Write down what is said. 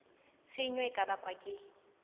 tshenyo e ka bakwang ke